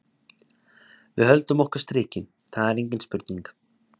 Við höldum okkar striki, það er engin spurning.